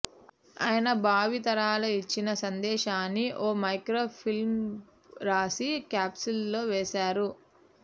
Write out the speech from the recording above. ఆయన భావి తరాలకు ఇచ్చిన సందేశాన్ని ఓ మైక్రోఫిల్మ్పై రాసి క్యాప్సూల్లో వేశారు